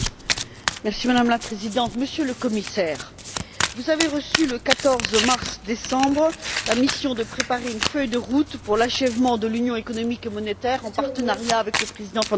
Madame la Présidente, Monsieur le Commissaire, vous avez reçu, le 14 décembre, la mission de préparer une feuille de route pour l'achèvement de l'Union économique et monétaire, en partenariat avec le président Van Rompuy.